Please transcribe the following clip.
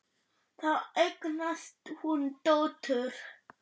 Þar eignast hún dóttur.